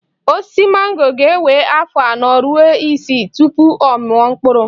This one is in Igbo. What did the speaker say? Osisi mango ga-ewe afọ anọ ruo isii tupu ọ mụọ mkpụrụ